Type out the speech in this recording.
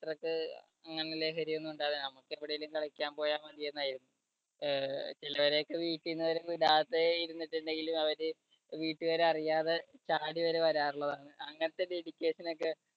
അത്രയ്ക്ക് അങ്ങനെ ലഹരി ഒന്നും ഉണ്ടായിരുന്നില്ല. നമുക്ക് എവിടെയെങ്കിലും കളിക്കാൻപോയാൽ മതി എന്നായിരുന്നു. അഹ് ചിലവരൊക്കെ വീട്ടീന്ന് വിടാതെ ഇരുന്നിട്ട് ഉണ്ടെങ്കിലും അവരെ വീട്ടുകാർ അറിയാതെ ചാടി വരെ വരാർ ഉള്ളതാണ്. അങ്ങനത്തെ dedication ഒക്കെ